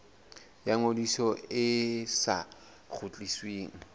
ya ngodiso e sa kgutlisweng